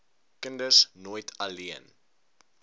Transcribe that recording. kinders nooit alleen